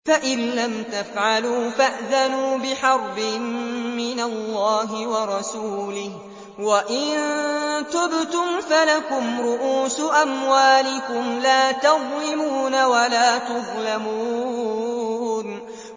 فَإِن لَّمْ تَفْعَلُوا فَأْذَنُوا بِحَرْبٍ مِّنَ اللَّهِ وَرَسُولِهِ ۖ وَإِن تُبْتُمْ فَلَكُمْ رُءُوسُ أَمْوَالِكُمْ لَا تَظْلِمُونَ وَلَا تُظْلَمُونَ